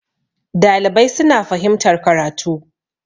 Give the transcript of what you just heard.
dalibai suna fahimtar karatu